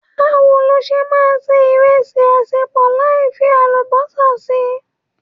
Bawo lo ṣe máa se ìrẹsì asepo láì fi Àlùbọ́sà si?